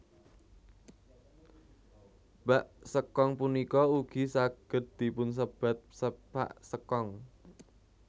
Bak sekong punika ugi saged dipunsebat sepak sekong